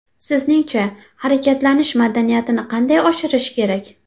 Sizningcha, harakatlanish madaniyatini qanday oshirish kerak?